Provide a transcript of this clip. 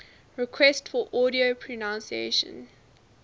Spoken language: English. requests for audio pronunciation